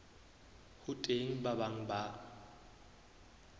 ho teng ba bang ba